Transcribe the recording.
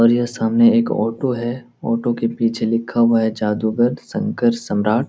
और यह सामने एक ऑटो है ऑटो के पीछे लिखा हुआ है जादूगर शंकर सम्राट।